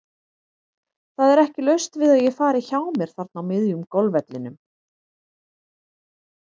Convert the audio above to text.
Það er ekki laust við að ég fari hjá mér þarna á miðjum golfvellinum.